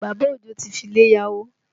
Bàbá Òjó ti fi ilé yá owó